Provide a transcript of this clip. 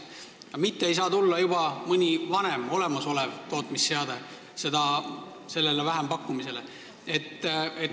Ja vähempakkumisele ei saa tulla juba mõni vanem, olemasolevate tootmisseadmetega jaam.